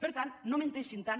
per tant no menteixin tant